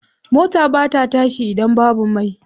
Mota ba ta tashi idan babu mai.